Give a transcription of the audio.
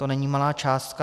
To není malá částka.